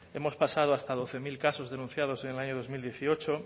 hemos pasado hasta doce mil casos denunciados en el año dos mil dieciocho